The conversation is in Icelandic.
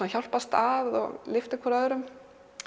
að hjálpast að og lyftir hvort öðru